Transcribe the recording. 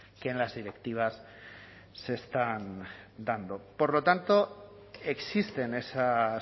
que en las directivas se están dando por lo tanto existen esas